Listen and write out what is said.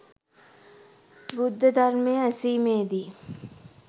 බුද්ධ ධර්මය ඇසීමේදී